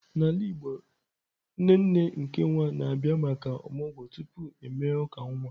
N'ala Igbo, nne nne nke nwa na-abịa maka omụgwo tupu e mee uka nwa.